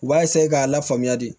U b'a k'a lafaamuya de